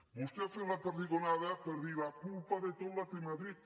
vostè ha fet la perdigonada en dir la culpa de tot la té madrid